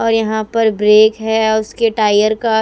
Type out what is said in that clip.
और यहां पर ब्रेक है अ उसके टायर का--